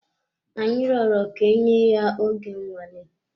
Anyi rọrọ ka enye ya oge nnwale.